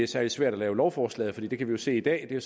særlig svært at lave lovforslaget for det kan vi jo se i dag det er